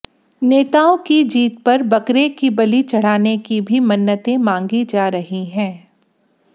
नेताओं की जीत पर बकरे की बलि चढ़ाने की भी मन्नतें मांगी जा रही हंै